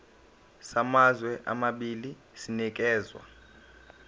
samazwe amabili sinikezwa